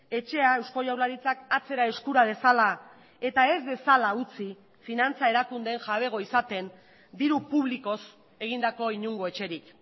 etxea eusko jaurlaritzak atzera eskura dezala eta ez dezala utzi finantza erakundeen jabego izaten diru publikoz egindako inongo etxerik